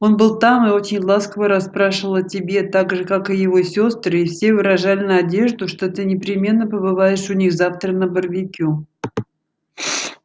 он был там и очень ласково расспрашивал о тебе также как и его сестры и все выражали надежду что ты непременно побываешь у них завтра на барбекю